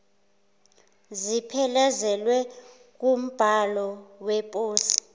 ziphelezelwe wumbhalo weposi